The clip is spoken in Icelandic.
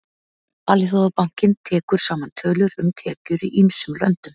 Alþjóðabankinn tekur saman tölur um tekjur í ýmsum löndum.